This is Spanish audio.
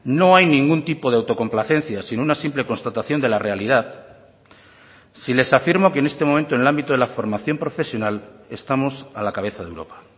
no hay ningún tipo de autocomplacencia sin una simple constatación de la realidad si les afirmo que en este momento en el ámbito de la formación profesional estamos a la cabeza de europa